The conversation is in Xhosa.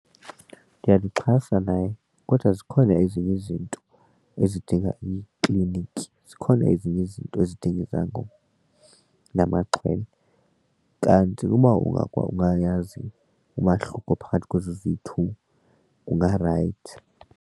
Ndiyamxhasa naye kodwa zikhona ezinye izinto ezidinga iikliniki, zikhona ezinye izinto ezidinga izangoma namaxhwele. Kanti uba ungayazi umahluko phakathi kwezi ziyi-two kungarayithi.